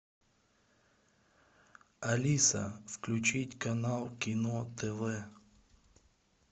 алиса включить канал кино тв